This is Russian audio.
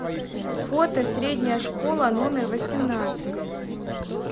фото средняя школа номер восемнадцать